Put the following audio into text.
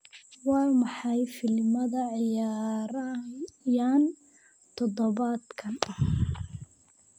waa maxay filimada ciyaarayaan todobaadkan